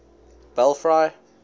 belfry